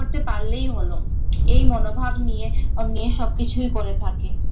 করতে পারলেই হলো এই মনোভাব নিয়ে নিয়ে সবকিছু করে থাকে।